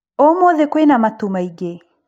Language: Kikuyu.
Ũmũthĩ kwĩna matu maingĩ?